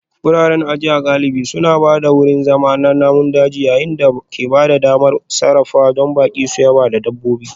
Wuraren ajiya galibi suna ba da wurin zama na namun daji yayin da ke ba da damar sarrafawa don baƙi su yaba da dabbobi